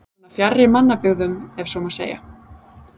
Svona fjarri mannabyggðum ef svo má segja?